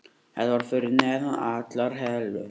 Þetta var fyrir neðan allar hellur.